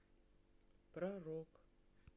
про рок